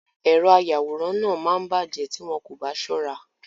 Èrọ ayàwòrán náà máa bàjẹ́ tí wọn kò bá ṣọ́ra.